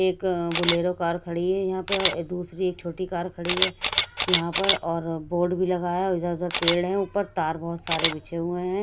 एक Bolero car खड़ी है यहां पे दूसरी एक छोटी कार खड़ी है यहां पर और बोर्ड भी लगाया है इधर उधर पेड़ है ऊपर तार बहुत सारे बिछे हुए हैं।